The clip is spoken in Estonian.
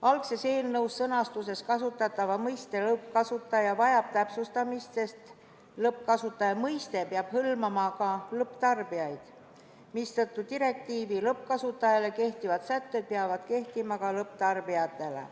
Algses eelnõu sõnastuses kasutatav mõiste "lõppkasutaja" vajab täpsustamist, sest "lõppkasutaja" mõiste peab hõlmama ka lõpptarbijaid, mistõttu lõppkasutajale kehtivad direktiivi sätted peavad kehtima ka lõpptarbijatele.